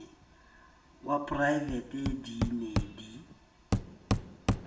wa praevete di ne di